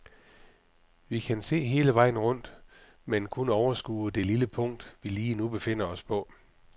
Vi kan se hele vejen rundt, men kun overskue det lille punkt, vi lige nu befinder os på.